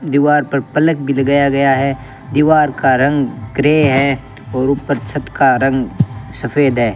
दीवार पर पलक भी लगाया गया है दीवार का रंग ग्रे है और ऊपर छत का रंग सफेद है।